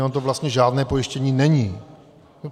Ono to vlastně žádné pojištění není.